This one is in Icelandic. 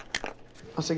afsakið